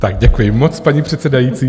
Tak děkuji moc, paní předsedající.